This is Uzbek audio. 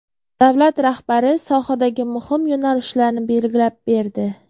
Davlat rahbari sohadagi muhim yo‘nalishlarni belgilab berdi.